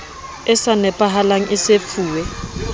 e sa nepahalang e sefuwe